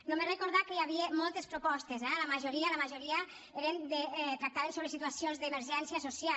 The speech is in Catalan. només recordar que hi havia moltes propostes eh la majoria la majoria tractaven sobre situacions d’emergència social